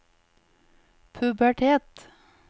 pubertet